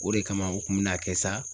O de kama u kun me na kɛ sa